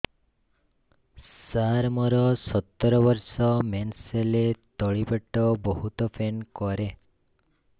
ସାର ମୋର ସତର ବର୍ଷ ମେନ୍ସେସ ହେଲେ ତଳି ପେଟ ବହୁତ ପେନ୍ କରେ